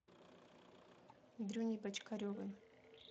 дрюней бочкаревым